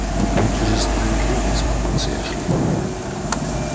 ну будьте же справедливы взмолился эшли